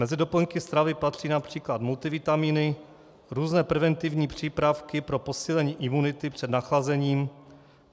Mezi doplňky stravy patří například multivitamíny, různé preventivní přípravky pro posílení imunity před nachlazením.